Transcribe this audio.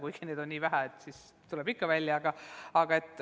Kuigi neid on nii vähe, et see tuleb ikka välja.